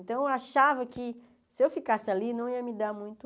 Então, eu achava que se eu ficasse ali, não ia me dar muito...